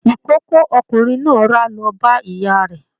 Ikòkò ọkùnrin náà ra lọ bá ìyá rẹ.